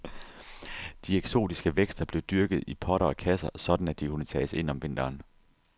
De eksotiske vækster blev dyrket i potter og kasser, sådan at de kunne tages ind om vinteren.